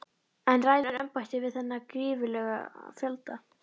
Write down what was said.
En ræður embættið við þennan gífurlega fjölda?